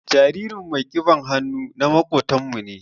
Jaririn mai kiɓan hannu na makobtan mu ne.